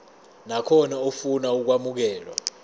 nakhona ofuna ukwamukelwa